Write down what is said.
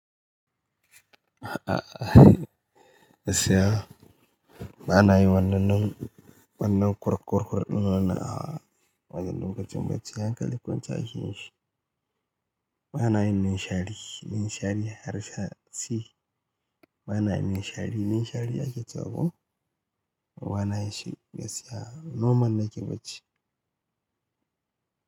A'a, gaskiya. Bana yi wannanin, wannan kurkurkuɗin wannan a wajen lokacin bacci. Yankali kwancaki, bana yin ninshari. Ninshari har sasi. Bana yin ninshari. Ninshari ake cewa? Bana yi shi gaskiya. Noman nake bacci.